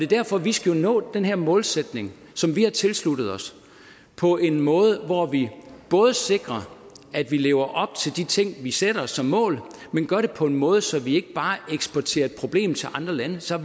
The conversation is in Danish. derfor vi skal nå den her målsætning som vi har tilsluttet os på en måde hvor vi sikrer at vi lever op til de ting vi sætter os som mål men gør det på en måde så vi ikke bare eksporterer et problem til andre lande så